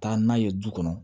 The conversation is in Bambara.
Taa n'a ye du kɔnɔ